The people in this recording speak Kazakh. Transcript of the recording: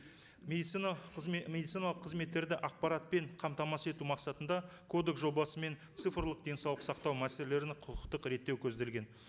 медицина медициналық қызметтерді ақпаратпен қамтамасыз ету мақсатында кодекс жобасымен цифрлық денсаулық сақтау мәселелеріне құқықтық реттеу көзделген